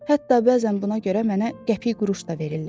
Hətta bəzən buna görə mənə qəpik-quruş da verirlər.